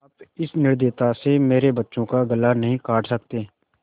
आप इस निर्दयता से मेरे बच्चों का गला नहीं काट सकते